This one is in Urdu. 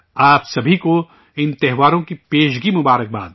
آپ سبھی کو ان تہواروں کی پیشگی مبارکباد